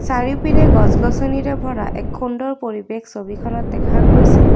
চাৰিওপিনে গছ গছনিৰে ভৰা এক সুন্দৰ পৰিৱেশ ছবিখনত দেখা গৈছে।